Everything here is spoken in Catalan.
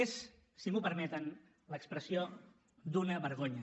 és si m’ho permeten l’expressió d’una vergonya